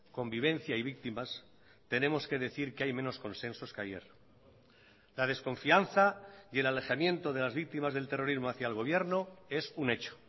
convivencia y víctimas tenemos que decir que hay menos consensos que ayer la desconfianza y el alejamiento de las víctimas del terrorismo hacia el gobierno es un hecho